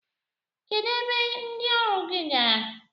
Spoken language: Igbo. Kedụ ebe ndị ọrụ gị gara?